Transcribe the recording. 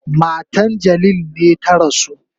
Matan Jalil ne ta rasu.